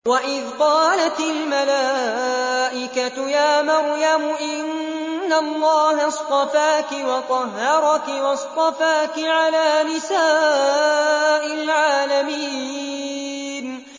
وَإِذْ قَالَتِ الْمَلَائِكَةُ يَا مَرْيَمُ إِنَّ اللَّهَ اصْطَفَاكِ وَطَهَّرَكِ وَاصْطَفَاكِ عَلَىٰ نِسَاءِ الْعَالَمِينَ